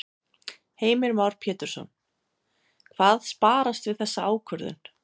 Heimir Már Pétursson: Hvað sparast við þessa ákvörðun?